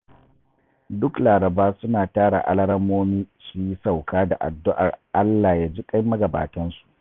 Duk Laraba suna tara alarammomi su yi sauka da addu'ar Allah ya ji ƙan magabatansu